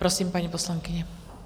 Prosím, paní poslankyně.